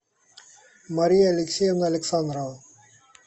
мария алексеевна александрова